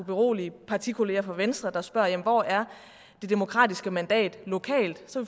berolige partikolleger fra venstre der spørger hvor er det demokratiske mandat lokalt så